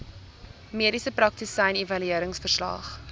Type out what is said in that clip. mediese praktisyn evalueringsverslag